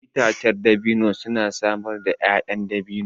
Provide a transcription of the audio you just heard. Itacen dabino suna samar da 'ya'yan dabino.